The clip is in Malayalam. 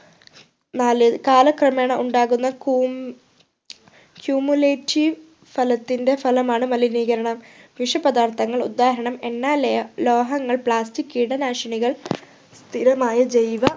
നാല് കാലക്രമേണ ഉണ്ടാകുന്ന കൂം cumulative സ്ഥലത്തിൻ്റെ ഫലമാണ് മലിനീകരണം വിഷപദാർത്ഥങ്ങൾ ഉദാഹരണം എണ്ണ ലേ ലോഹങ്ങൾ plastic കീടനാശിനികൾ സ്ഥിരമായ ജൈവ